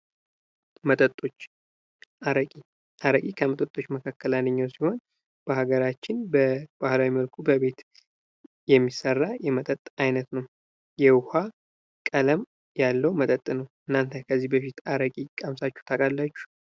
መጠጦች ። አረቄ ፡ አረቄ ከመጠጦች መካከል አንደኛው ሲሆን በሀገራችን በባህላዊ መልኩ በቤት የሚሰራ የመጠጥ አይነት ነው ። የውሃ ቀለም ያለው መጠጥ ነው ። እናንተ ከዚህ በፊት አረቄ ቀምሳችሁ ታውቃላችሁ?